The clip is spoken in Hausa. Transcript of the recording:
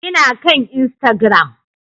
Ina kan Instagram